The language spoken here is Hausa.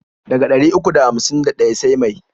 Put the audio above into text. Daga ɗari uku da hamsin da ɗaya sai mai?